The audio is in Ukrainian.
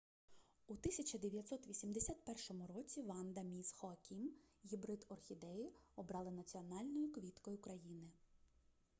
у 1981 році ванда міс хоакім гібрид орхідеї обрали національною квіткою країни